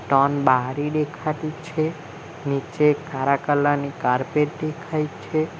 તન બારી દેખાતી છે નીચે કારા કલર ની કાર્પેટ દેખાય છે.